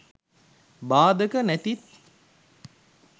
බාධක නැති